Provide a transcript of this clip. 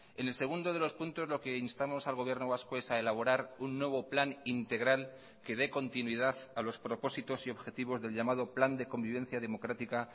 en el segundo de los puntos lo que instamos al gobierno vasco es a elaborar un nuevo plan integral que dé continuidad a los propósitos y objetivos del llamado plan de convivencia democrática